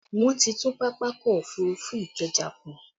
Wọn ti tún Pápákọ̀ òfurufú Ikeja kùn